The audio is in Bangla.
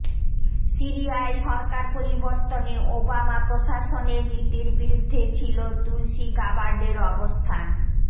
সিরিয়ায় সরকার পরিবর্তনে ওবামা প্রশাসনের নীতির বিরুদ্ধে ছিল তুলসি গাবার্ডের অবস্থান